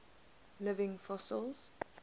living fossils